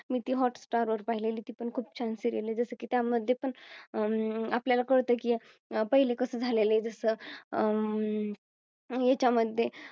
मी ती Hot star वर पाहिलेली ती पण खूप छान Serial आहे. जस की त्या मध्ये पण हम्म आपल्याला कळतं की पहिले कसं झालेले जस अं ह्याच्या मध्ये